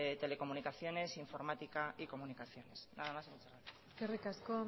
telecomunicaciones informática y comunicaciones nada y muchas gracias eskerrik asko